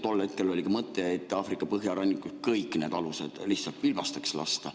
Tol hetkel oli ka mõte Aafrika põhjarannikul kõik need alused lihtsalt pilbasteks lasta.